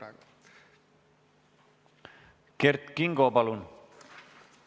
Kert Kingo, palun!